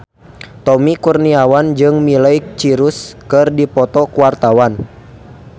Tommy Kurniawan jeung Miley Cyrus keur dipoto ku wartawan